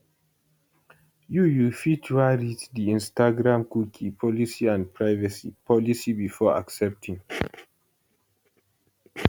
you you fit wan read di instagramcookie policyandprivacy policybefore accepting